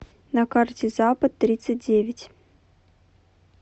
на карте запад тридцать девять